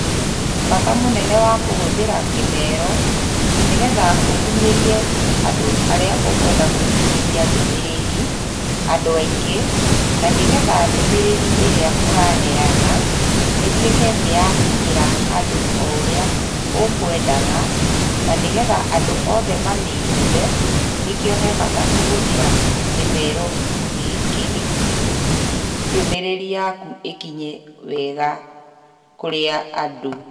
Bata mũnene wa kũhuthĩra kĩmero nĩngetha ũkíinyerie andũ arĩa ũkwenda gũkinyĩria ndũmĩrĩri andũ aingĩ na nĩgetha ndũmĩrĩri ĩrĩa ũrahena ĩtũĩke nĩyakinyĩra andũ ũrĩa ũkwendaga na nĩgetha andũ othe mamĩigũe nĩkĩo he bata kũhuthĩra kĩmero gĩkĩndũmĩrĩri yaku ĩkinye wega kũrĩ andũ.